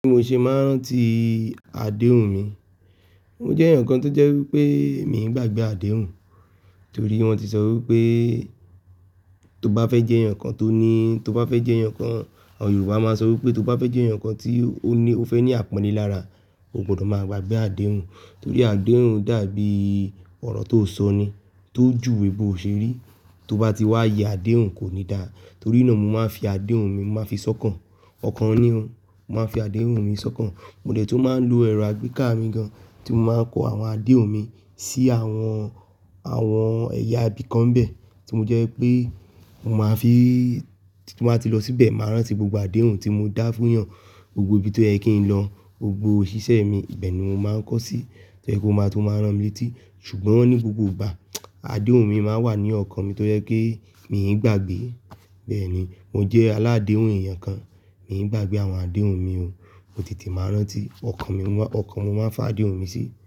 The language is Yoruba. Bí mo ṣe máa ń rántí adéhùn mi, mo jẹ́ èèyàn kan tó jẹ́ wípé mi ń gbàgbé adéhùn, torí wón ti sọ wípé tó bá fẹ́ jẹ́ èèyàn kan tó ní, tó bá fẹ́ jẹ́ èèyàn kan, àwọn Yorùbá máa ń sọ wípé tó bá fẹ́ jẹ́ èèyàn kan tí ó ní, ó fẹ́ ní àpọ́nle lára, o gbọdọ̀ máa gbagbé adéhùn. Torí adéhùn dàbí ọ̀rọ̀ tó sọ ni tó jùwè bò ṣe rí. Tó bá ti wá ye adéhùn kò ní dára. Torí náà mo máa ń fi adéhùn mi, mo máa ń fi sọ́kàn. Ọ̀kan ní ò, mo máa ń fi adéhùn mi sọ́kàn. Mo dẹ̀ tún máa ń lo ẹ̀rọ àgbéká mi gan tí mo máa ń kọ àwọn adéhùn mi sí àwọn, àwọn ẹ̀yà ibìkan nbẹ̀ tí mo jẹ́ wípé mo máa fi, tí mo bá ti lọ síbẹ̀, màá rántí gbogbo adéhùn tí mo dá fún èèyàn, gbogbo ibi tó yẹ kí n lọ, gbogbo òṣìṣẹ́ mi, ibẹ́ ni mo máa ń kọ sí tó jẹ́ kó máa tún máa rán mi létí. Ṣùgbọ́n ní gbogbo ìgbà adéhùn mi máa ń wà ní ọkàn mi tó jẹ́ pé mi n gbàgbé. Bẹ́ẹ̀ ni mo jẹ́ aládéhùn ẹ̀yàn kan, mi ń gbàgbé àwọn adéhùn mi, mo tètè máa ń rántí, ọkàn mi, ọkàn mo máa ń f'ádéhùn mi sí.